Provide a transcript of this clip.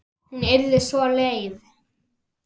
Hún yrði svo leið.